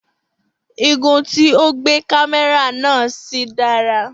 Igun tí o gbé kámẹ́rà náà sí dára